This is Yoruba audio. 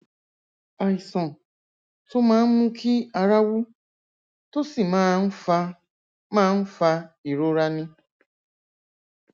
àìsàn tó máa ń mú kí ara wú tó sì máa ń fa máa ń fa ìrora ni